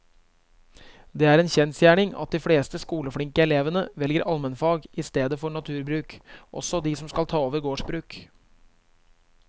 Det er en kjensgjerning at de fleste skoleflinke elevene velger allmennfag i stedet for naturbruk, også de som skal ta over gårdsbruk.